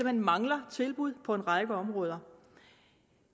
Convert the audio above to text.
hen mangler tilbud på en række områder